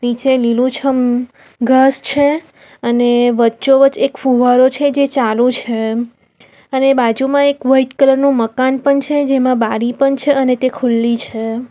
નીચે લીલુંછમ ઘાસ છે અને વચ્ચોવચ એક ફુવારો છે જે ચાલુ છે અને બાજુમાં એક વાઈટ કલર નું મકાન પણ છે જેમાં બારી પણ છે અને તે ખુલ્લી છે.